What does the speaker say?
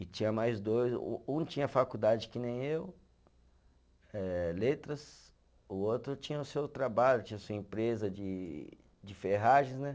E tinha mais dois, um um tinha faculdade que nem eu eh, letras, o outro tinha o seu trabalho, tinha a sua empresa de de ferragens, né?